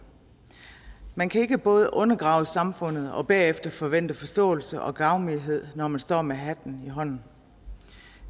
man kan ikke både undergrave samfundet og bagefter forvente forståelse og gavmildhed når man står med hatten i hånden